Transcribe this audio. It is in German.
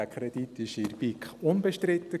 Dieser Kredit war in der BiK unbestritten.